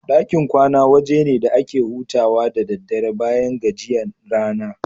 Ɗakin kwana waje ne da ake hutawa da daddare bayan gajiyan rana.